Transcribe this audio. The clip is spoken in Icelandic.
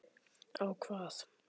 Á hvað?